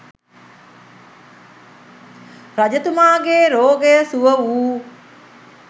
රජතුමාගේ රෝගය සුව වූ